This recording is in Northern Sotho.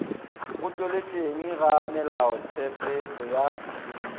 go tšweletšeng ga melaotshepetšo ya